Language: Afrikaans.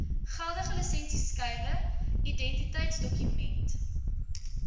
geldige lisensieskyfie identiteitsdokument